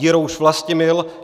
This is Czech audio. Jirouš Vlastimil